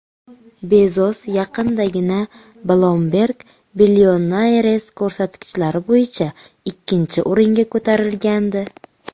Bezos yaqindagina Bloomberg Billionaires ko‘rsatkichlari bo‘yicha ikkinchi o‘ringa ko‘tarilgandi.